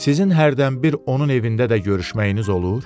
Sizin hərdən bir onun evində də görüşməyiniz olur?